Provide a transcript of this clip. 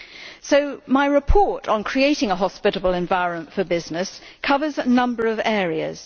So my report on creating a hospitable environment for business covers a number of areas.